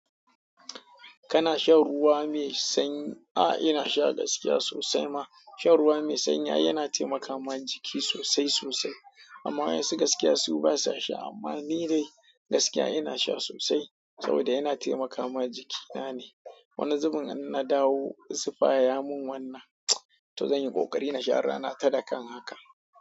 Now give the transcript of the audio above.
Kana shan ruwa mai sanyi? Ah inasha gaskiya sosai ma. Shan ruwa mai sanyi ai yana taimakama jiki sosai sosai. Amma wasu gaskiya basa sha. Amma ni dai gaskiya ina sha sosai saboda yana taimakawa jikina ne. Wani zubin in na dawo zufa ya mun wannan, to zan yi ƙoƙari in sha rana ta dakan haka.